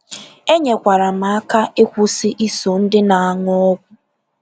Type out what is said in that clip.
Enyekwara m aka ịkwụsị iso ndị na-aṅụ ọgwụ.